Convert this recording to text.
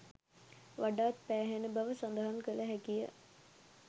වඩාත් පෑහෙන බව සඳහන් කළ හැකියි